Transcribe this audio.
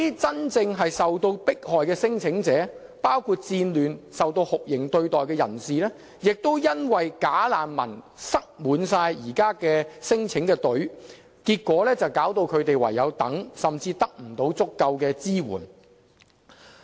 真正受迫害的聲請者，包括因戰亂而受酷刑對待的人士，亦因"假難民"擠滿現時輪候免遣返聲請的隊伍，結果導致他們唯有等待，甚至不獲足夠的支援。